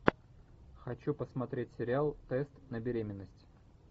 хочу посмотреть сериал тест на беременность